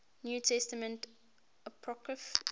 new testament apocrypha